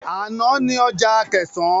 Ana ni ọjà Akẹ̀sán.